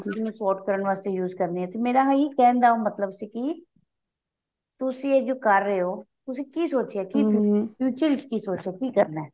sort ਕਰਨ ਵਾਸਤੇ use ਕਰਦੀ ਹਾਂ ਤੇ ਮੇਰਾ ਇਹੀ ਕਹਿਣ ਦਾ ਮਤਲਬ ਸੀ ਕੀ ਤੁਸੀਂ ਇਹ ਜੋ ਕਰ ਰਹੇ ਹੋ ਤੁਸੀਂ ਕੀ future ਵਿੱਚ ਕੀ ਸੋਚਿਆ ਕੀ ਕਰਨਾ